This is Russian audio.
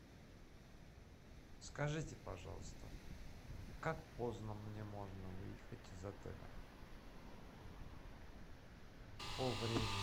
скажите пожалуйста как поздно мне можно выехать из отеля по времени